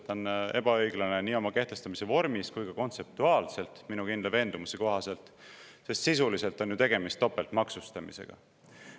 Ta on ebaõiglane nii tema kehtestamise vormi poolest kui ka kontseptuaalselt minu kindla veendumuse kohaselt, sest sisuliselt on ju tegemist topeltmaksustamisega.